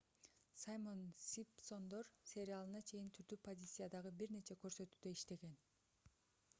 саймон симпсондор сериалына чейин түрдүү позициядагы бир нече көрсөтүүдө иштеген